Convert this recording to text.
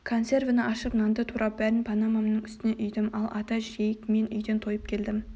консервіні ашып нанды турап бәрін панамамның үстіне үйдім ал ата жейік жоқ мен үйден тойып келдім